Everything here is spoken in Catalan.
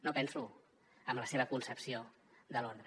no penso en la seva concepció de l’ordre